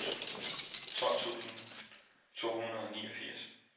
tolv tusind to hundrede og niogfirs